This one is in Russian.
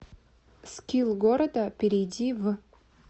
скилл города перейди в